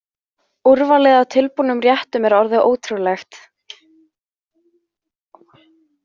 Úrvalið af tilbúnum réttum er orðið ótrúlegt.